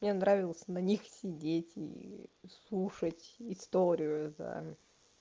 мне нравилось на них сидеть и слушать историю за